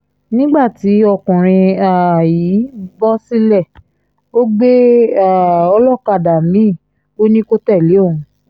nígbà tí ọkùnrin um yìí bọ́ sílẹ̀ ó gbé um olókàdá mi-ín ò ní kó tẹ̀lé wọn